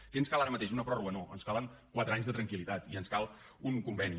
què ens cal ara mateix una pròrroga no ens calen quatre anys de tranquil·litat i ens cal un conveni